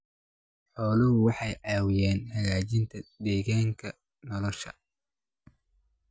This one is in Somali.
Xooluhu waxay caawiyaan hagaajinta deegaanka nolosha.